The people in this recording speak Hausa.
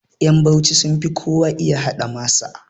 Ƴan bauchi sunfi kowa iya haɗa masa